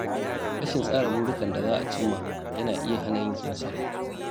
Rashin tsara burikan da za a cimma yana iya hana yin nasara.